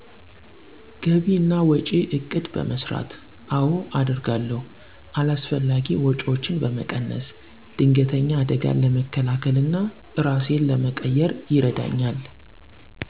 ግቢ እና ወጭ እቅድ በመሰራት። አወ አደርጋለሁ። አላስፈላጊ ወጪወችን በመቀነስ። ድንገተኝ አደጋን ለመከላከል እና እራሴን ለመቅየር ይረዳኝል።